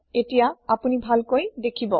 এতিয়া আপোনি ভালকৈ দেখিব